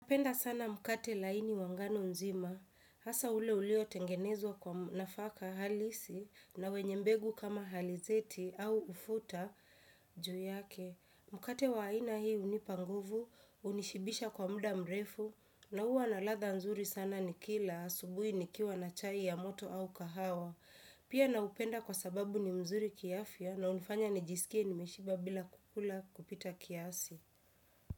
Napenda sana mkate laini wa ngano nzima, hasa ule ulio tengenezwa kwa nafaka halisi na wenye mbegu kama halizeti au ufuta juu yake. Mkate wa aina hii hunipa nguvu, hunishibisha kwa muda mrefu, na huwa na ladha nzuri sana nikila asubui nikiwa na chai ya moto au kahawa. Pia naupenda kwa sababu ni mzuri kiafya na unifanya nijisikie nimeshiba bila kukula kupita kiasi.